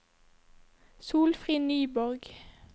Solfrid Nyborg